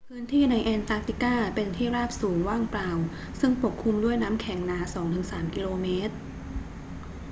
พื้นที่ในแอนตาร์กติกาเป็นที่ราบสูงว่างเปล่าซึ่งปกคลุมด้วยน้ำแข็งหนา 2 ถึง 3 กิโลเมตร